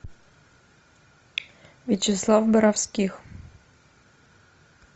вячеслав боровских